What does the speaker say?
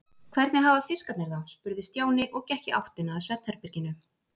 Hvernig hafa fiskarnir það? spurði Stjáni og gekk í áttina að svefnherberginu.